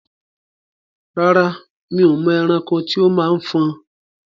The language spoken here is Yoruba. Rárá, mi ò mọ ẹranko tí ó máa ń fọn.